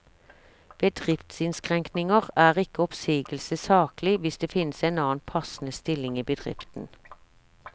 Ved driftsinnskrenkninger er ikke oppsigelse saklig hvis det finnes en annen passende stilling i bedriften.